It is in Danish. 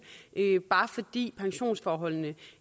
bare fordi pensionsforholdene